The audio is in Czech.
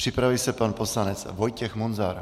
Připraví se pan poslanec Vojtěch Munzar.